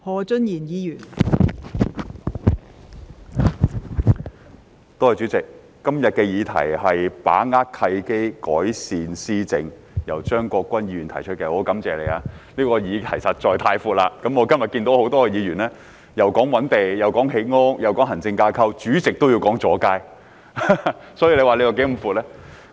代理主席，感謝張國鈞議員今天提出"把握契機，改善施政"的議案，但議題範圍實在太寬闊，以致有議員提到覓地、建屋、行政架構，代理主席甚至提到阻街問題，可見其範圍是如何寬闊。